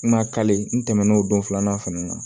N ka ntɛnɛn'o don filanan fɛnɛ na